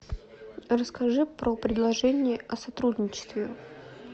расскажи про предложение о сотрудничестве